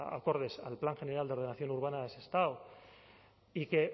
acordes al plan general de ordenación urbana de sestao y que